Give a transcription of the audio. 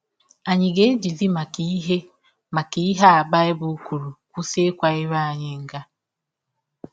Ànyị ga - ejizi maka ihe maka ihe a Baịbụl kwụrụ kwụsị ịkwa ire anyị nga?